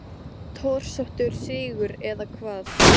Torsóttur sigur eða hvað?